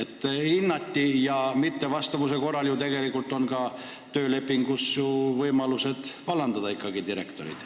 Ja kui direktor ametinõuetele ei vasta, siis annab ju ka tööleping võimaluse teda vallandada.